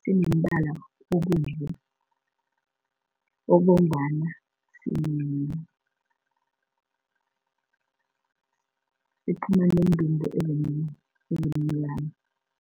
sinombala obovu obomvana siphuma neentumbu ezimnyama.